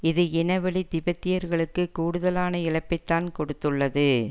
இது இனவழி திபெத்தியர்களுக்கு கூடுதலான இழப்பைத்தான் கொடுத்துள்ளது